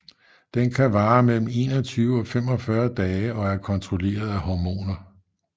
Den kan variere mellem 21 og 45 dage og er kontrolleret af hormoner